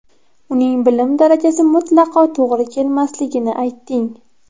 Uning bilim darajasi mutlaqo to‘g‘ri kelmasligini aytding.